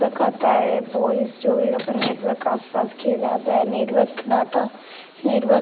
आता है बॉयज जो भी अपने नेटवर्क का आसपास किये जाता है नेटवर्क डाटा नेटवर्क --